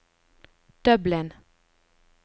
Dublin